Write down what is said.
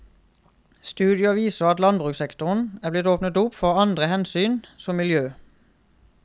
Studier viser at landbrukssektoren er blitt åpnet opp for andre hensyn, som miljø.